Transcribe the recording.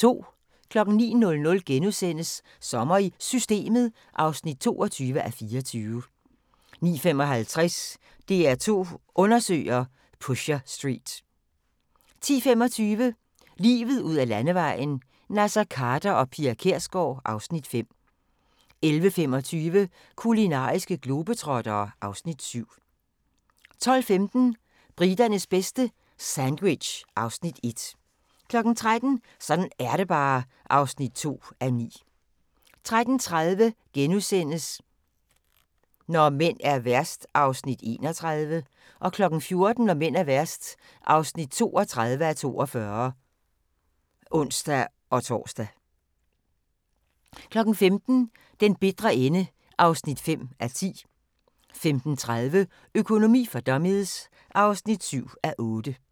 09:00: Sommer i Systemet (22:24)* 09:55: DR2 Undersøger: Pusher Street 10:25: Livet ud ad Landevejen: Naser Khader og Pia Kjærsgaard (Afs. 5) 11:25: Kulinariske globetrottere (Afs. 7) 12:15: Briternes bedste - sandwich (Afs. 1) 13:00: Sådan er det bare (2:9) 13:30: Når mænd er værst (31:42)* 14:00: Når mænd er værst (32:42)(ons-tor) 15:00: Den bitre ende (5:10) 15:30: Økonomi for dummies (7:8)